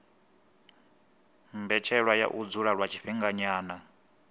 mbetshelwa ya u dzula lwa tshifhinganyana